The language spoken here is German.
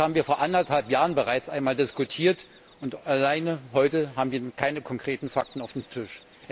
Das haben wir vor anderthalb Jahren bereits einmal diskutiert, und bis heute haben wir keine konkreten Fakten auf dem Tisch.